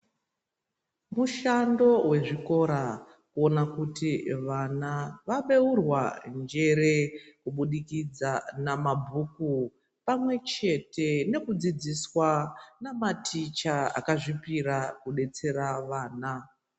Mushando wezvikora kuona kuti vana vaveurwa njere kubudikidza na mabhuku pamwe chete nokudzidziswa na maticha aka zvipira kubetsera ana.